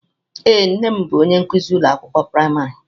Ee, nne m bụ onye nkuzi ụlọ akwụkwọ praịmarị.